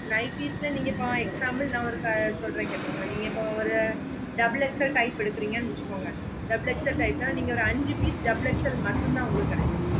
nighties ல நீங்க for example ந ஒரு சொல்லறேன் கேட்டுக்கோங்க இப்போ நீங்க double XL type எடுக்குறீங்க வெச்சுக்கோங்க double XL type ந நீங்க ஒரு அஞ்சி piece double XL மட்டும் தான் உங்களுக்கு கேடாகும்